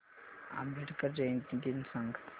आंबेडकर जयंती दिन सांग